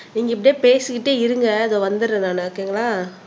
நீங்க இப்படியே பேசிக்கிட்டே இருங்க இதோ வந்துடுறேன் நான் ஒகேங்களா